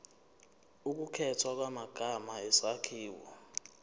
ukukhethwa kwamagama isakhiwo